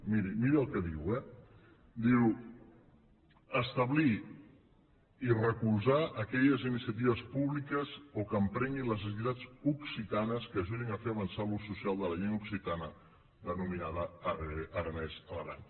miri miri el que diu eh diu establir i recolzar aquelles iniciatives públiques o que emprenguin les entitats occitanes que ajudin a fer avançar l’ús social de la llengua occitana denominada aranès a l’aran